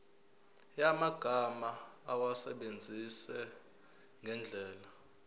yamagama awasebenzise ngendlela